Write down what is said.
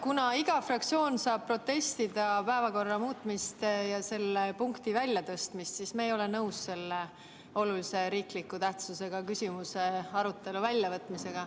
Kuna iga fraktsioon saab protestida päevakorra muutmise ja selle punkti väljatõstmise vastu, siis ütlen, et me Reformierakonnana ei ole nõus selle olulise tähtsusega riikliku küsimuse arutelu väljavõtmisega.